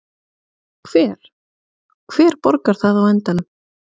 Hver, hver borgar það á endanum?